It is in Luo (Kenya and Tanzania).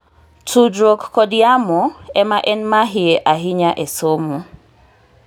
tudruok kod yamo ema en mahie ahinya e somo